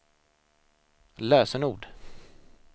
lösenord